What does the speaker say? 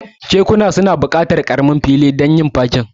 Kekuna suna buƙatar ƙaramin fili don yin fakin da gurin da za'a tuka.